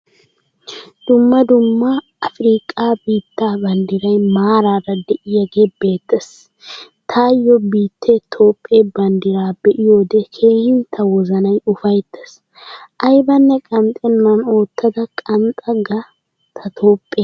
Dumma dumma afirqqa biitta banddiray maaraara deiyage beettees. Tayo biittee toophphee bandddira be'iyode keehin ta wozanay ufayttiis. Aybanne qanxxennan oottada qanxxa ga ta toophphee.